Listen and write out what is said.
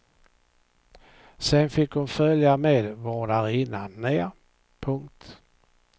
Sen fick hon följa med vårdarinnan ner. punkt